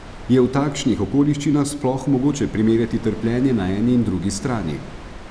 Je v takšnih okoliščinah sploh mogoče primerjati trpljenje na eni in drugi strani?